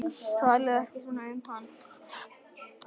Talaðu ekki svona um hann